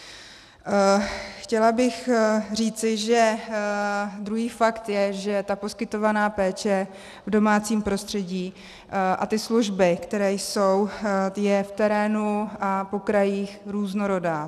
Chtěla bych říci, že druhý fakt je, že ta poskytovaná péče v domácím prostředí a ty služby, které jsou, je v terénu a po krajích různorodá.